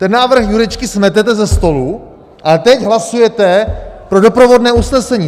Ten návrh Jurečky smetete se stolu a teď hlasujete pro doprovodné usnesení.